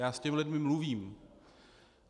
Já s těmi lidmi mluvím.